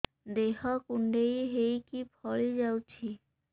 ଦେହ କୁଣ୍ଡେଇ ହେଇକି ଫଳି ଯାଉଛି